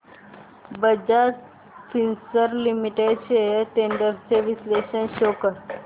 Bajaj Finserv limited shares trends चे विश्लेषण show कर